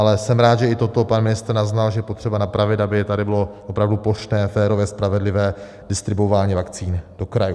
Ale jsem rád, že i toto pan ministr naznal, že je potřeba napravit, aby tady bylo opravdu plošné, férové, spravedlivé, distribuování vakcíny do krajů.